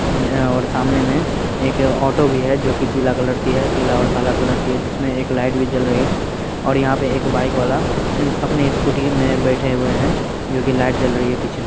यहा और सामने में एक ऑटो भी है जो की पीला कलर की है पीला और काला कलर की जिसमे एक लाइट भी जल रही है और यहाँ पे एक बाइक वाला अपनी स्कूटी मे बैठे हुए है जो की लाइट जल रही है पीछे मे--